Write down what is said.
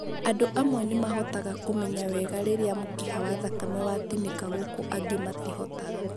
Andũ amwe nĩmahotaga kũmenya wega rĩrĩa mũkiha wa thakame watinĩka gũkũ angĩ matihotaga